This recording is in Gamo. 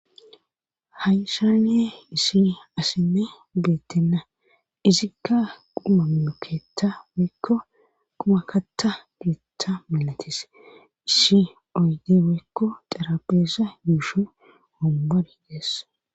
Hayshanee isi asinne geettenna izikka qumamekeeta woykko qumakatta geeta milatis iisi oyde weykko xarapheesa yuushi ombar deessa.